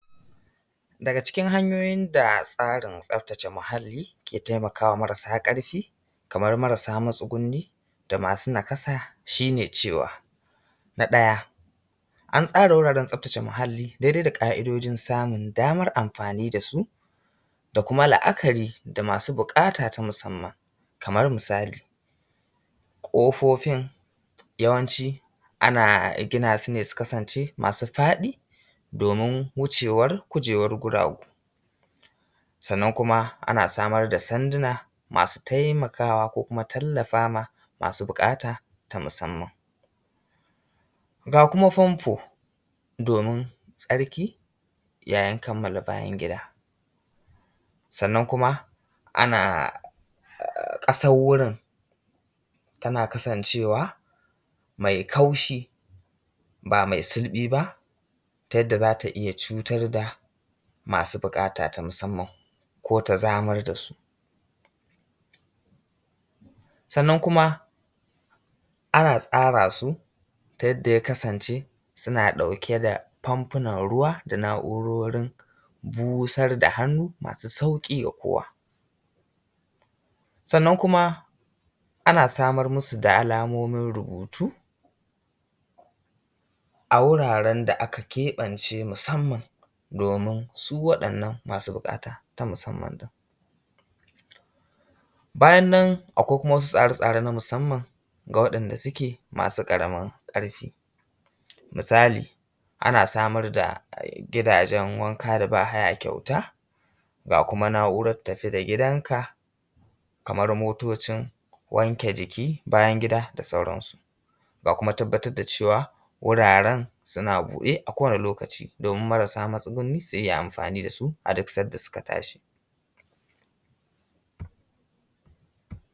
Daga cikin hanyoyin da tsarin tsaftace muhalli ke taimaka ma marasa ƙarfi, kamar marasa matsugunni, da masu nakasa, shi ne cewa, na ɗaya an tsara wuraren tsaftace muhalli dai dai da ƙa’idojin samun damar amfani da su da kuma la’akari da masu buƙata ta musamman. Kamar misali ƙofofin yawanci ana gina su ne su kasance ma su faɗi, domin wucewar kujerun guragu. Sannan kuma ana samar da sanduna masu taimakawa ko kuma tallafa ma ma su buƙata ta musamman. Ga kuma famfo domin tsarki yayin kamala bayan gida, sannan kuma ana ƙasar wurin tana kasancewa mai kaushi ba mai sulɓi ba ta yadda za ta iya cutar da masu buƙata ta musamman, ko ta zamar da su. Sannan kuma ana tsara su ta yadda ya kasance suna ɗauke da famfunan ruwa da na’urorin busar da hannu masu sauƙi ga kowa. Sannan kuma ana samar masu da alamomin rubutu a wuraren da aka keɓance musamman domin su waɗannan masu buƙata ta musamman ɗin. bayan akwai kuma wasu tsare tsare na musamman ga waɗanda suke masu ƙaramin ƙarfi. Misali ana samar da gidajen wanka da ba haya kyauta ga kuma na’urar tafi da gidanka, kamar motocin wanke jiki, bayan gida da sauransu. Ga kuma tabbatar da cewa wuraren suna buɗe a kowane lokaci domin marasa matsugunni su yi amfani da su a duk sanda suka tashi.